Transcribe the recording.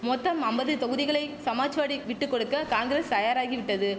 மொத்தம் அம்பது தொகுதிகளை சமாஜ்வாடி விட்டுக்கொடுக்க காங்கிரஸ் தயாராகிவிட்டது